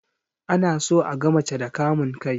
Ana so aga mace da kamun kai